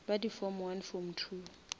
ba di form form